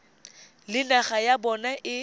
le naga ya bona e